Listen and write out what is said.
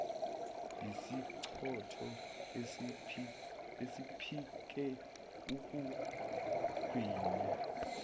yisichotho esephike ukugwinya